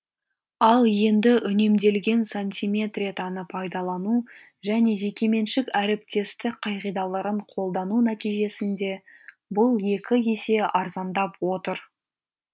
ал енді үнемделген сантиметретаны пайдалану және жекеменшік әріптестік қағидаларын қолдану нәтижесінде бұл екі есе арзандап отыр